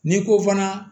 N'i ko fana